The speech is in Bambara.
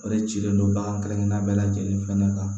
O de cilen don bagan kelenkelenna bɛɛ lajɛlen fɛnɛ kan